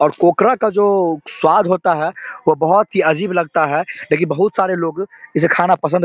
और कोकरा का जो स्वाद होता है वो बहुत ही अजीब लगता है लेकिन बहुत सारे लोग इसे खाना पसंद --